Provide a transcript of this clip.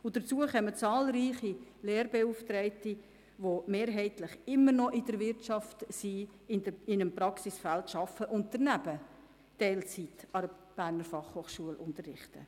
Hinzu kommen zahlreiche Lehrbeauftragte, die mehrheitlich immer noch in der Wirtschaft, in einem Praxisfeld, arbeiten und daneben Teilzeit an der BFH unterrichten.